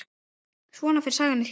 Svona fer sagan í hringi.